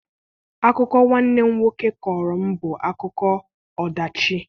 Akụkọ nwanne m nwoke kọọrọ m bụ akụkọ ọdachi.